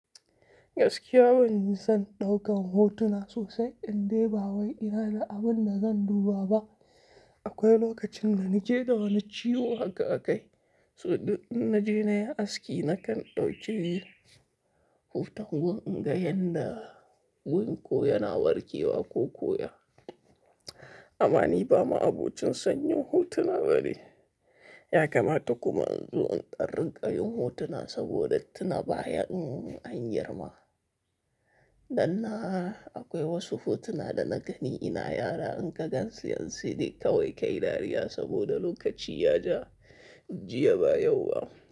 Gaskiya ban son ɗaukan hotuna sosai, in dai ba wai ina da abin da zan duba ba. Akwai lokacin da nake da wani ciwo haka a kai, so duk in naje nayi aski nakan ɗauki hoton wanga yanda wurin ko yana warke wa ko ko ya. Amma ni ba ma'abocin son yin hotuna bane, ya kamata kuma in zo in ɗan rinƙayin hotuna saboda tuna baya in an girma. Dan na, akwai wasu hotuna da na gani ina yara in ka gansu yanzu sai dai kawai ka yi dariya saboda lokaci ya ja, jiya ba yau ba.